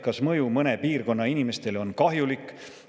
Kas mõju mõne piirkonna inimestele on kahjulik?